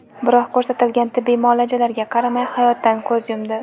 Biroq ko‘rsatilgan tibbiy muolajalarga qaramay, hayotdan ko‘z yumdi.